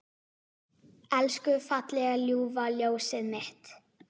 Elsku fallega ljúfa ljósið mitt.